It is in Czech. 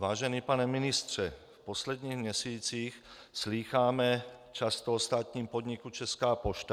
Vážený pane ministře, v posledních měsících slýcháme často o státním podniku Česká pošta.